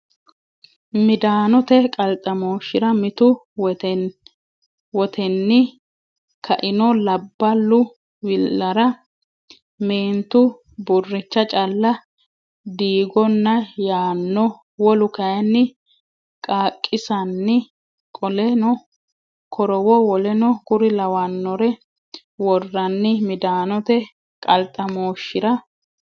Midaanote qalxamooshshira Mitu Wotenni ka ino Labballu wi lara meentu burricha calle diigonna yaanno wolu kayinni qaaqiissanni qoleno korowo w k l worranni Midaanote qalxamooshshira.